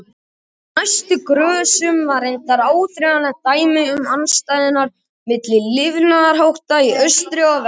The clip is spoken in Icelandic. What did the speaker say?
Á næstu grösum var reyndar áþreifanlegt dæmi um andstæðurnar milli lifnaðarhátta í austri og vestri.